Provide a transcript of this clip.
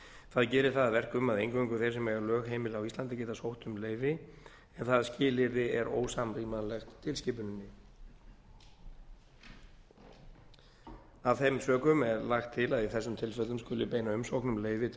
það gerir það að verkum að eingöngu þeir sem eiga lögheimili á íslandi geta sótt um leyfi en það skilyrði er ósamrýmanlegt tilskipuninni af þeim sökum er lagt til að í þessum tilfellum skuli beina umsókn um leyfi til